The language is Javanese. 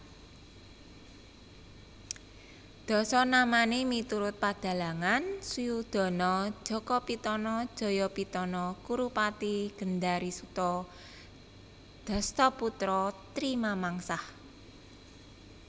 Dasanamane miturut padhalangan Suyudana Jakapitana Jayapitana Kurupati Gendharisuta Dhasthaputra Tri Mamangsah